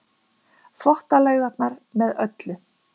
Þvottalaugarnar með öllu.